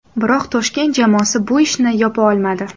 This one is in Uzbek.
Biroq Toshkent jamoasi bu ishni yopa olmadi.